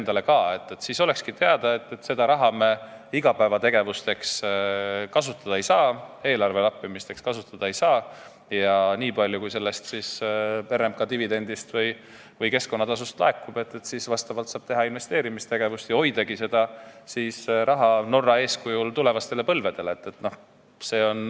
Aga see ettepanek tagab, et oleks teada, et seda raha me igapäevategevusteks kasutada ei saa, eelarve lappimiseks kasutada ei saa, vaid nii palju, kui RMK dividendist või keskkonnatasust laekub, saab investeerida ja hoida seda raha Norra eeskujul tulevastele põlvedele.